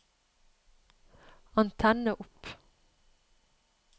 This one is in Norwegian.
antenne opp